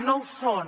no ho són